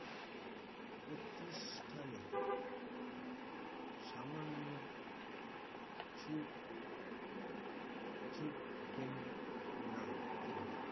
প্রতিষ্ঠানে সামান্য ঝু ঝুঁকবেন না তিনি